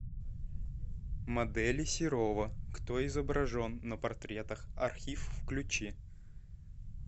модели серова кто изображен на портретах архив включи